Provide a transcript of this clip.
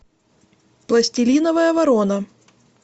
пластилиновая ворона